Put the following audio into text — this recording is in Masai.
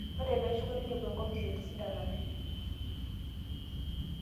Ero peeeshukunye neinepu enkopis etisidana pii